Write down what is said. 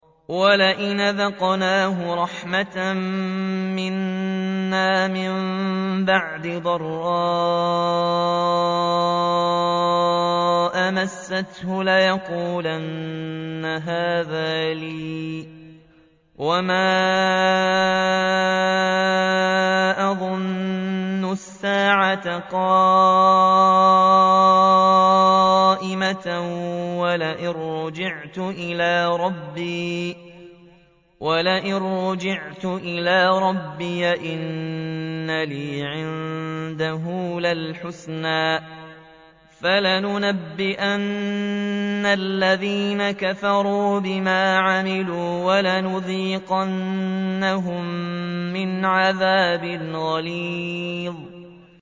وَلَئِنْ أَذَقْنَاهُ رَحْمَةً مِّنَّا مِن بَعْدِ ضَرَّاءَ مَسَّتْهُ لَيَقُولَنَّ هَٰذَا لِي وَمَا أَظُنُّ السَّاعَةَ قَائِمَةً وَلَئِن رُّجِعْتُ إِلَىٰ رَبِّي إِنَّ لِي عِندَهُ لَلْحُسْنَىٰ ۚ فَلَنُنَبِّئَنَّ الَّذِينَ كَفَرُوا بِمَا عَمِلُوا وَلَنُذِيقَنَّهُم مِّنْ عَذَابٍ غَلِيظٍ